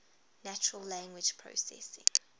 natural language processing